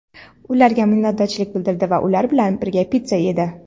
ularga minnatdorchilik bildirdi va ular bilan birga pitsa yedi.